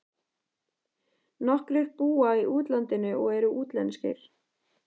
Nokkrir búa í útlandinu og eru útlenskir.